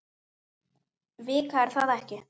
Vika er það ekki?